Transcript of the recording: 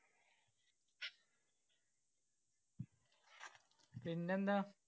പിന്നെന്താ?